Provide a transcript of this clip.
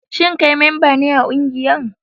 Shin kai memba ne a kungiyar?